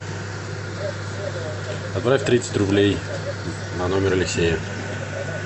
отправь тридцать рублей на номер алексея